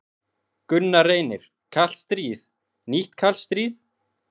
Gunnar Reynir: Kalt stríð, nýtt kalt stríð?